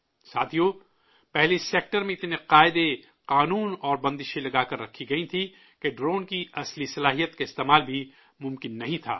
ساتھیو، پہلے اس سیکٹر میں اتنے ضابطے، قانون اور پابندیاں لگا کر رکھے گئے تھے کہ ڈرون کی اصلی صلاحیت کا استعمال بھی ممکن نہیں تھا